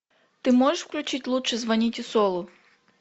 ты можешь включить лучше звоните солу